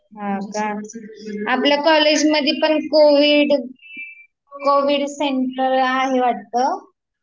हा का, आपल्या कॉलेज मध्ये पण कोविड सेंटर आहे वाटत